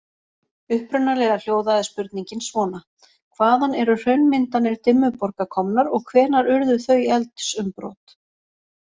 Upprunalega hljóðaði spurningin svona: Hvaðan eru hraunmyndanir Dimmuborga komnar og hvenær urðu þau eldsumbrot?